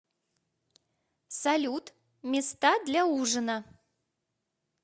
салют места для ужина